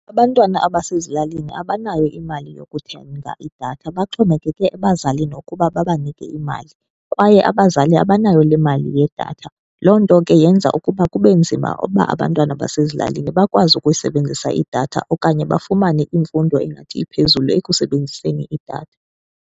Abantwana abasezilalini abanayo imali yokuthenga idatha, baxhomekeke ebazalini ukuba babanike imali, kwaye abazali abanayo le mali yedatha. Loo nto ke yenza ukuba kube nzima uba abantwana basezilalini bakwazi ukusebenzisa idatha okanye bafumane imfundo engathi iphezulu ekusebenziseni idatha.